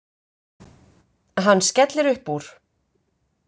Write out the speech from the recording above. Hann skellir upp úr.